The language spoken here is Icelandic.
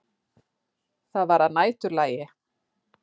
Það var að næturlagi.